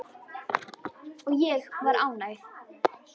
Og ég var ánægð.